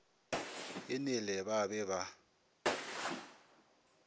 e nele ba be ba